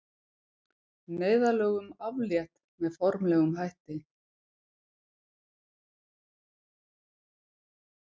Neyðarlögum aflétt með formlegum hætti